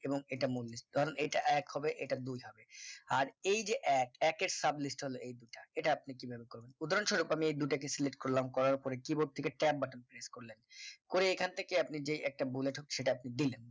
এবং এটা মল্লিক কারণ এটা এক হবে এটা দুই হবে আর এই যে এক কের sublist হলো এই দুইটা এটা আপনি কিভাবে করবেন উদাহরণ স্বরূপ আমি এই দুটোকে select করলাম। করার পরে keyboard থেকে tab করলে করে এখান থেকে আপনি যেই একটা bullet হোক সেটা আপনি দিলেন